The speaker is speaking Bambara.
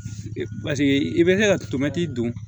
Paseke i bɛ se ka tomɛtiri don